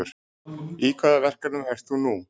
Í hvaða verkefnum ert þú nú?